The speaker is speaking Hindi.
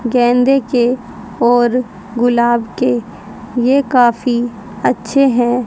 गेंदे के और गुलाब के ये काफी अच्छे हैं।